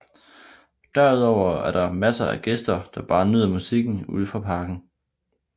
Derudover er der masser af gæster der bare nyder musikken ude fra parken